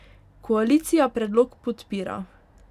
Koalicija predlog podpira.